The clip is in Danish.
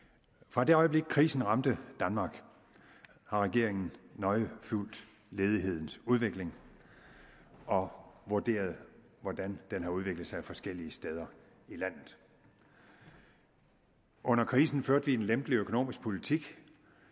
fra det øjeblik krisen ramte danmark har regeringen nøje fulgt ledighedens udvikling og vurderet hvordan den har udviklet sig forskellige steder i landet under krisen førte vi en lempelig økonomisk politik